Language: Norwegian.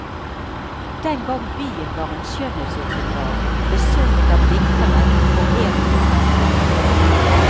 Den gang byen var en skjønnhetsåpenbaring, besunget av diktere og foreviget av malere.